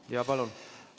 Jaa, palun!